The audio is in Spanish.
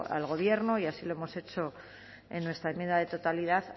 al gobierno y así lo hemos hecho en nuestra enmienda de totalidad